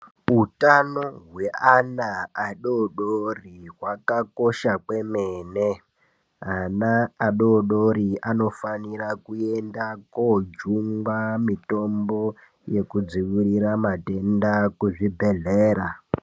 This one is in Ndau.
Utano hweana adodori hwakakosha kwemene, ana adodori anofanira kuende kojungwa mitombo yekudzivirira matenda kuzvibhehleyra.